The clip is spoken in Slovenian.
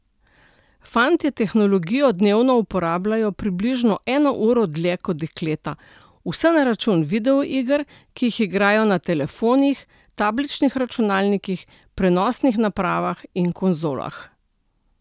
Fantje tehnologijo dnevno uporabljajo približno eno uro dlje kot dekleta, vse na račun videoiger, ki jih igrajo na telefonih, tabličnih računalnikih, prenosnih napravah in konzolah.